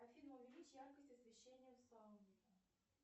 афина увеличь яркость освещения в сауне